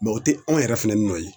o tɛ anw yɛrɛ fɛnɛ nɔ ye